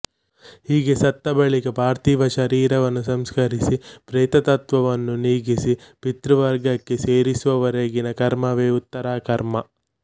ಹೀಗೆ ಸತ್ತ ಬಳಿಕ ಪಾರ್ಥಿವ ಶರೀರವನ್ನು ಸಂಸ್ಕರಿಸಿ ಪ್ರೇತತ್ವವನ್ನು ನೀಗಿಸಿ ಪಿತೃವರ್ಗಕ್ಕೆ ಸೇರಿಸುವವರೆಗಿನ ಕರ್ಮವೇ ಉತ್ತರಕರ್ಮ